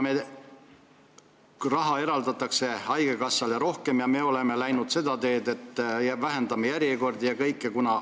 Raha eraldatakse haigekassale rohkem ja me oleme läinud seda teed, et vähendame järjekordi.